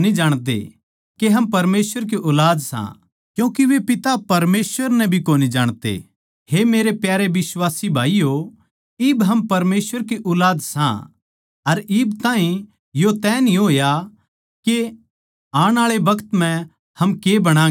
हे मेरे प्यारे बिश्वासी भाईयो इब हम परमेसवर की ऊलाद सां अर इब ताहीं यो तय न्ही होया के आण आळे बखत म्ह हम के बणागें इतणा जाणा सां के जिब यीशु मसीह आवैगा तो हम उसकै सामान होवांगे क्यूँके हम मसीह नै उसेए दिक्खांगें जिसा वो सै